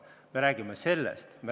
Me räägime sellest.